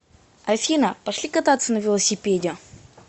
афина пошли кататься на велосипеде